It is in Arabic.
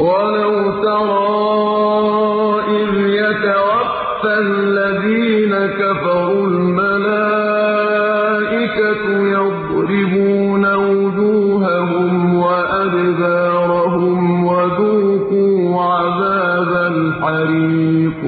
وَلَوْ تَرَىٰ إِذْ يَتَوَفَّى الَّذِينَ كَفَرُوا ۙ الْمَلَائِكَةُ يَضْرِبُونَ وُجُوهَهُمْ وَأَدْبَارَهُمْ وَذُوقُوا عَذَابَ الْحَرِيقِ